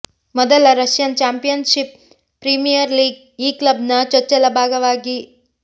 ಮೊದಲ Russian championship premier league ಈ club ನ ಚೊಚ್ಚಲ ಭಾಗವಾಗಿ